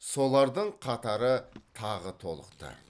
солардың қатары тағы толықты